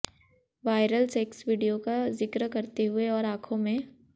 viral sex video का जिक्र करते हुए और आंखों में